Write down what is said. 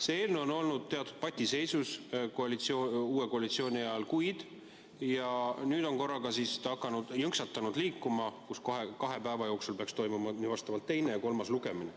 See eelnõu on olnud uue koalitsiooni ajal teatud patiseisus juba kuid ja nüüd on ta korraga jõnksatanud liikuma, nii et kahe päeva jooksul peaks toimuma teine ja kolmas lugemine.